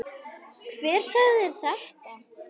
Hver sagði þér þetta?